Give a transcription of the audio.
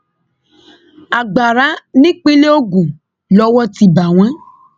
agbára nípínlẹ ogun lowó ti bá wọn